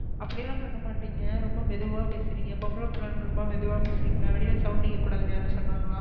அப்டிலா பன்னமாடிங்க ரொம்ப மெதுவா பேசுறிங்க பொம்பளபிள்ளனு ரொம்ப மெதுவா பேசுறிங்கள வெளில sound கேககூடாதுன்னு யாரது சொன்னகளா,